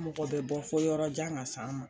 mɔgɔ bɛ bɔ fɔ yɔrɔ jan ka s'an ma